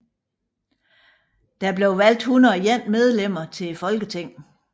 Der blev valgt 101 medlemmer til Folketinget